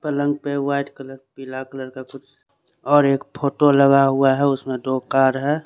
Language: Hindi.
पलंग पे वाइट कलर पीला कलर का कुछ और एक फोटो लगा हुआ है उसमें दो कार है।